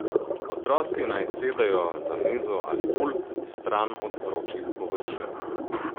Otroci naj sedejo za mizo ali pult, stran od vročih površin.